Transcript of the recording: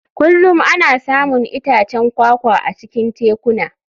Kullum ana samun itacen kwakwa a cikin tekuna.